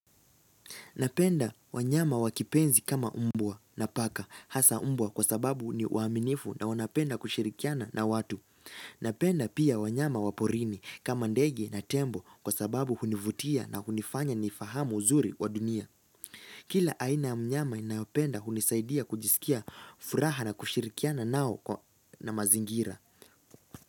Napenda wanyama wakipenzi kama umbwa na paka hasa umbwa kwa sababu ni waaminifu na wanapenda kushirikiana na watu. Napenda pia wanyama waporini kama ndege na tembo kwa sababu hunivutia na hunifanya ni fahamu uzuri wa dunia. Kila aina ya mnyama ninayopenda hunisaidia kujisikia furaha na kushirikiana nao na mazingira.